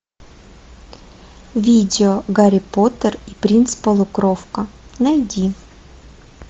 видео гарри поттер и принц полукровка найди